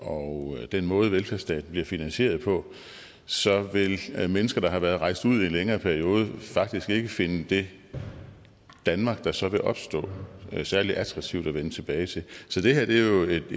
og den måde velfærdsstaten bliver finansieret på så vil mennesker der har været rejst ud i en længere periode faktisk ikke finde det danmark der så vil opstå særlig attraktivt at vende tilbage til så det her er jo et